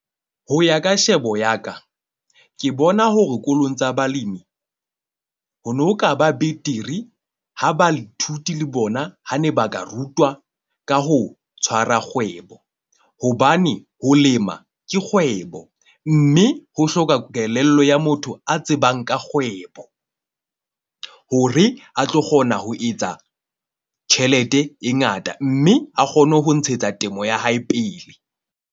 Ho ya ka shebo ya ka, ke bona hore dikolong tsa balemi, ho no ka ba betere ha baithuti le bona ha ne ba ka rutwa ka ho tshwara kgwebo. Hobane ho lema ke kgwebo, mme ho hloka kelello ya motho a tsebang ka kgwebo, hore a tlo kgona ho etsa tjhelete e ngata. Mme a kgone ho ntshetsa temo ya hae pele.